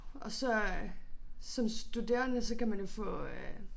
Og så øh som studerende så kan man jo få øh